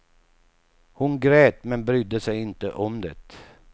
Hon grät, men brydde sig inte om det.